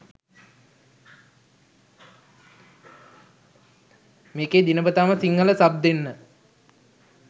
මේකේ දිනපතාම සිංහල සබ් දෙන්න